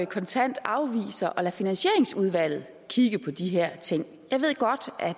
kontant afviser at lade finansieringsudvalget kigge på de her ting jeg ved godt at